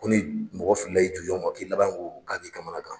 Ko ni mɔgɔ fili la i jujɔn ma k'i labanko k'a b'i kamanagan.